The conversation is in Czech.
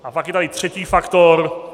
A pak je tady třetí faktor.